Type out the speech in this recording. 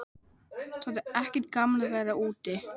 Það er ekkert gaman að vera úti.